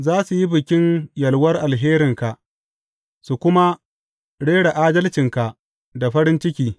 Za su yi bikin yalwar alherinka suka kuma rera adalcinka da farin ciki.